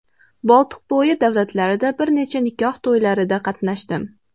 Boltiqbo‘yi davlatlarida bir necha nikoh to‘ylarida qatnashdim.